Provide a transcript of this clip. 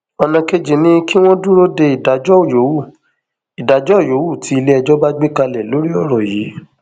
ọnà kejì ni kí wọn dúró de ìdájọ yòówù ìdájọ yòówù tí iléẹjọ bá gbé kalẹ lórí ọrọ yìí